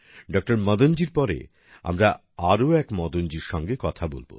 doctor Madan জির পরে আমরা আরো এক মদনজির সঙ্গে কথা বলব